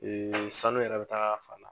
sanu yɛrɛ bɛ taa a ka fan na.